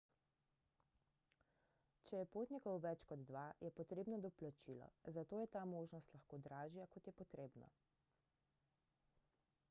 če je potnikov več kot dva je potrebno doplačilo zato je ta možnost lahko dražja kot je potrebno